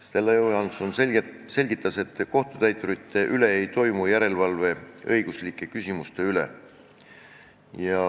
Stella Johanson selgitas, et kohtutäiturite puhul ei tehta järelevalvet, pidades silmas õiguslikke küsimusi.